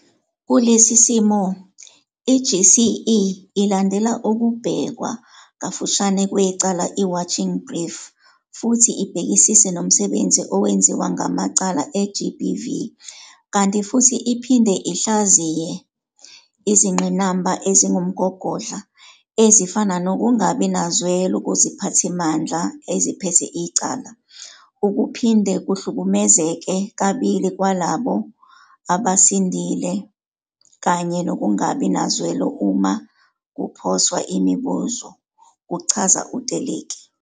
"Kulesi simo, i-CGE ilandela ukubhekwa kafushane kwecala i-Watching Brief futhi ibhekisise nomsebenzi owenziwa ngamacala e-GBV kanti futhi iphinde ihlaziye izingqinamba ezingumgogodla, ezifana nokungabi nazwelo kuziphathimandla eziphethe icala, ukuphinde kuhlukumezeke kabili kwalabo abasindile kanye nokungabi nazwelo uma kuphoswa imibuzo," kuchaza u-Teleki.